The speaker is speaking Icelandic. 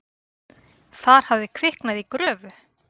Þar hafði kviknað í gröfu.